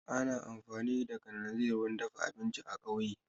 Ana amfani da kananzir wurin dafa abinci a kauye